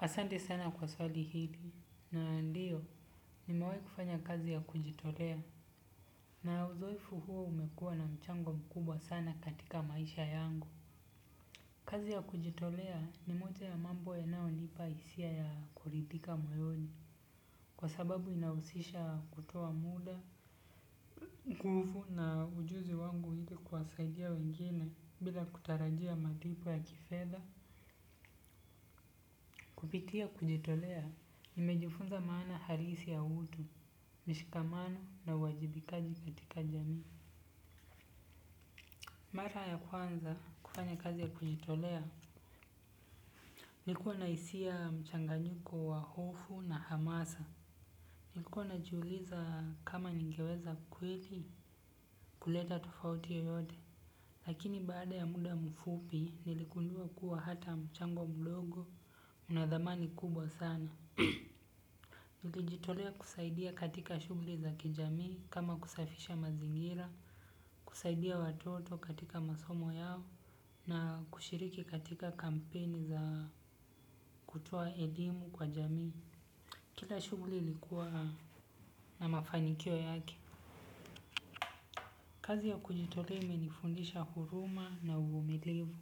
Asante sana kwa swali hili. Na ndiyo nimewai kufanya kazi ya kujitolea. Na uzoefu huo umekuwa na mchango mkubwa sana katika maisha yangu. Kazi ya kujitolea ni moja ya mambo ya nao nipa isia ya kulithika moyoni. Kwa sababu inausisha kutowa muda. Kuhufu na ujuzi wangu hili kwasaidia wengine bila kutarajia malipo ya kifedha. Kupitia kujitolea, nimejifunza maana harisi ya utu, mishikamano na wajibikaji katika jami. Mara ya kwanza kufanya kazi ya kujitolea. Nikuwa na isia mchanganyiko wa hofu na hamasa. Nikuwa na juuliza kama ningeweza kweli kuleta tofauti yoyote. Lakini bada ya muda mfupi niligundua hata mchango mdogo unathamani kubwa sana. Nilijitolea kusaidia katika shugli za kijami kama kusafisha mazingira, kusaidia watoto katika masomo yao na kushiriki katika kampeni za kutoa elimu kwa jami. Kila shugli ilikuwa na mafanikio yake. Kazi ya kujitolea imenifundisha huruma na uvumilivu.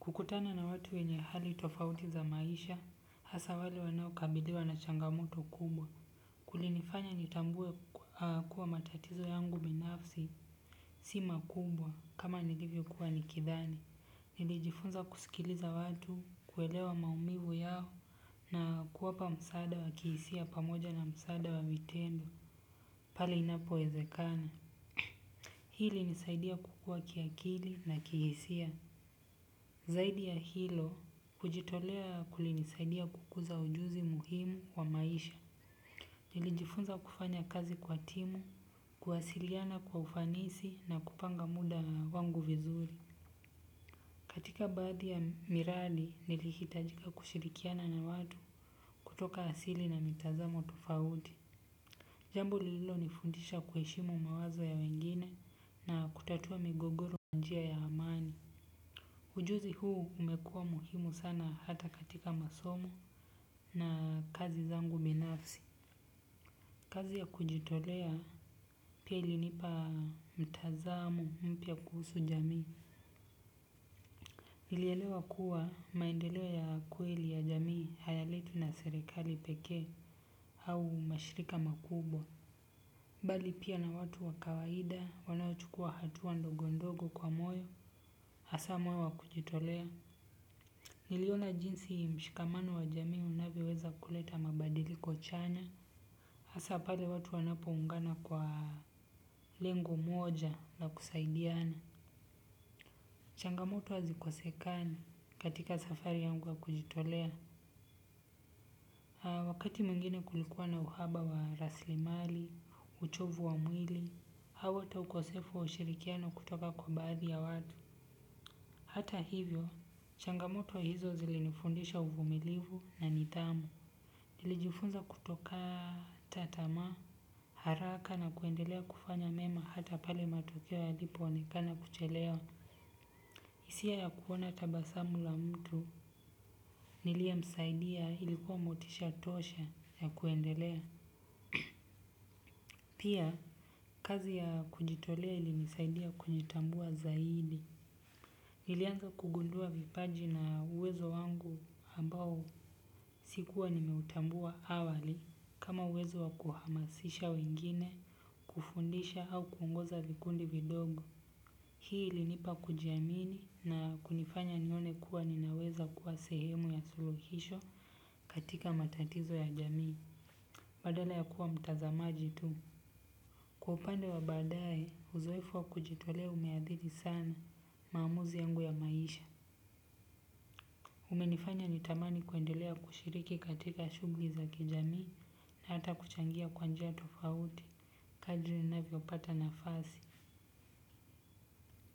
Kukutana na watu wenye hali tofauti za maisha, hasa wale wanao kabiliwa na changamoto kubwa kulinifanya nitambue kuwa matatizo yangu binafsi si makumbwa kama nilivyo kuwa nikithani. Nilijifunza kusikiliza watu, kuelewa maumivu yao na kuwapa msada wa kihisia pamoja na msada wa vitendo. Pali inapo wezekana. Hili ilnisaidia kukua kiakili na kihisia. Zaidi ya hilo, kujitolea kulinisaidia kukuza ujuzi muhimu wa maisha. Nili jifunza kufanya kazi kwa timu, kuwasiliana kwa ufanisi na kupanga muda wangu vizuri. Katika baadhi ya miradi nili hitajika kushirikiana na watu kutoka asili na mitazamo tofaudi. Jambo lilo nifundisha kueshimu mawazo ya wengine na kutatua migogoro kwanjia ya amani. Ujuzi huu umekuwa muhimu sana hata katika masomo na kazi zangu binafsi. Kazi ya kujitolea pia ilinipa mtazamo mpya kuhusu jamii. Nilielewa kuwa maendelewo ya kweli ya jamii hayaletwi na serikali peke au mashirika makubwa bali pia na watu wakawaida wanao chukua hatuwa ndogo ndogo kwa moyo hasa moyo wa kujitolea. Niliona jinsi mshikamano wa jamii unavioweza kuleta mabadiliko chanya hasa pale watu wanapoungana kwa lengo moja la kusaidiana. Changamoto hazi kosekani katika safari yangu ya kujitolea. Wakati muingine kulikuwa na uhaba wa raslimali, uchovu wa mwili, hawa ta ukosefu wa ushirikiano kutoka kwa baadhi ya watu. Hata hivyo, changamoto hizo zilinifundisha uvumilivu na nitamu. Nilijifunza kutoka tatama haraka na kuendelea kufanya mema hata pale matokewo yalipo wonekana kuchelewa. Isia ya kuona tabasamu la mtu nilie msaidia ilikuwa motisha tosha ya kuendelea. Pia kazi ya kujitolea ili nisaidia kunjitambua zaidi. Nilianza kugundua vipaji na uwezo wangu ambao sikuwa nimeutambua awali kama uwezo wakuhamasisha wengine kufundisha au kuungoza vikundi vidogo hii ilinipa kujiamini na kunifanya nione kuwa ninaweza kuwa sehemu ya suluhisho katika matatizo ya jamii. Badala ya kuwa mtazamaji tu kwa upande wa badaye huzoefu wa kujitolea umeadhiri sana maamuzi yangu ya maisha. Umenifanya nitamani kuendelea kushiriki katika shugli za kijamii na hata kuchangia kwanjia tofauti. Kadri navyopata nafasi.